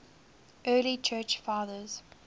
early church fathers